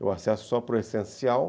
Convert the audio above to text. Eu acesso só para o essencial.